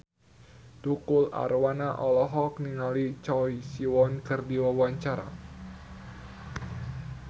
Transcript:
Tukul Arwana olohok ningali Choi Siwon keur diwawancara